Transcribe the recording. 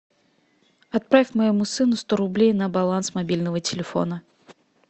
отправь моему сыну сто рублей на баланс мобильного телефона